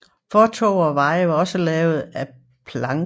Fortove og veje var også lavet af planker